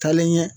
Taalen ɲɛ